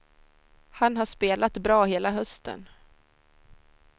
Han har spelat bra hela hösten.